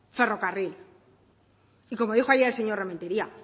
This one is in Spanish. ferrocarril y como dijo ayer el señor rementeria